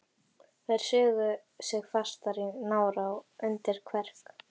Og þær sugu sig fastar í nára og undir kverk.